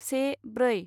से ब्रै